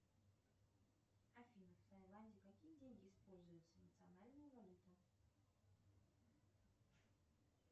афина в таиладе какие деньги используются национальная валюта